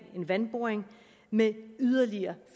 en vandboring med yderligere